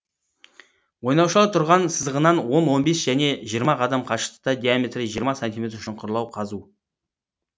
ойнаушылар тұрған сызығынан он он бес және жиырма қадам қашықтықта диаметрі жиырма сантиметр шұңқырлар қазу